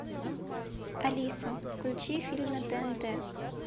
алиса включи фильм на тнт